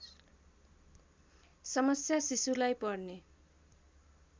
समस्या शिशुलाई पर्ने